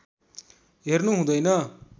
हेर्नु हुँदैन